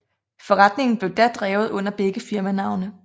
Forretningen blev da drevet under begge firmanavne